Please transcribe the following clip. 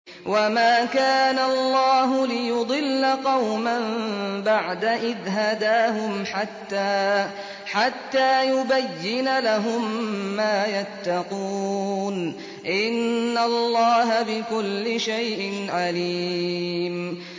وَمَا كَانَ اللَّهُ لِيُضِلَّ قَوْمًا بَعْدَ إِذْ هَدَاهُمْ حَتَّىٰ يُبَيِّنَ لَهُم مَّا يَتَّقُونَ ۚ إِنَّ اللَّهَ بِكُلِّ شَيْءٍ عَلِيمٌ